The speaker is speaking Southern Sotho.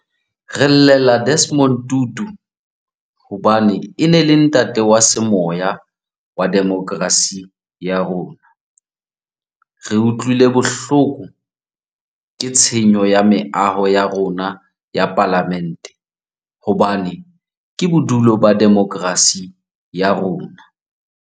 Re llela Desmond Tutu hobane e ne e le ntate wa semoya wa demokerasi ya rona. Re utlwile bohloko ke tshenyo ya meaho ya rona ya Palamente hobane ke bodulo ba demokerasi ya rona.